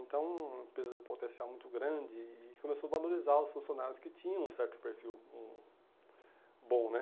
Então, uma empresa de potencial muito grande e começou a valorizar os funcionários que tinham um certo perfil, um bom, né?